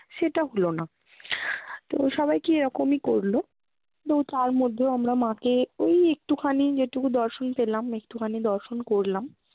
সেটা হলো না। তো সবাইকে এরকমই করলো। তো তার মধ্যেও আমরা মা কে ওই একটুখানি যেটুকু দর্শন পেলাম একটুখানি দর্শন করলাম।